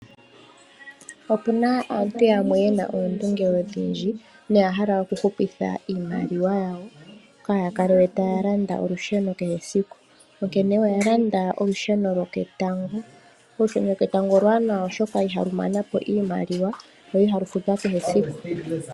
Opuna aantu yamwe yena oondunge odhindji noya hala oku hupitha iimaliwa yawo kaaya kale we taya landa olusheno kehe esiku, onkene oya landa olusheno lwoketango. Olusheno lwoketango oluwanawa, oshoka ihalu mana po iimaliwa lo ihalu futwa kehe esiku.